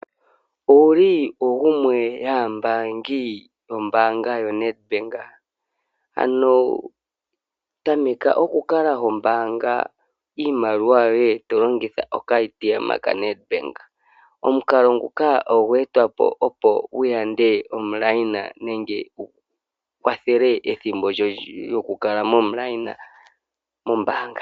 Owuli gumwe yomambaangi yombaanga yoNedbank? Ano tameka oku kala hombaanga iimaliwa yoye to longitha okashina kaNedbank. Omukalo nguno ogweetwa po, opo wu yande omukweyo nenge gu kwathele ethimbo lyoku kala omukweyo mombaanga.